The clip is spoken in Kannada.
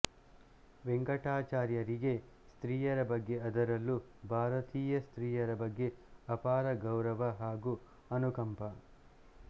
ವೆಂಕಟಾಚಾರ್ಯರಿಗೆ ಸ್ತ್ರೀಯರ ಬಗ್ಗೆ ಅದರಲ್ಲೂ ಭಾರತೀಯ ಸ್ತ್ರೀಯರ ಬಗ್ಗೆ ಅಪಾರ ಗೌರವ ಹಾಗೂ ಅನುಕಂಪ